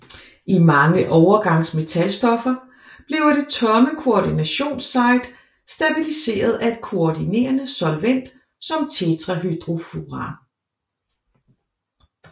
I mange overgansmetalstoffer bliver det tomme koordinationssite stabiliseret af et koordinerende solvent som tetrahydrofuran